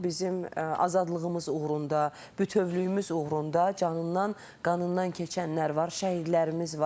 Bizim azadlığımız uğrunda, bütövlüyümüz uğrunda canından, qanından keçənlər var.